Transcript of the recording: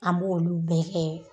An b'olu bɛɛ kɛ.